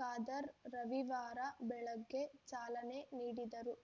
ಖಾದರ್ ರವಿವಾರ ಬೆಳಗ್ಗೆ ಚಾಲನೆ ನೀಡಿದರು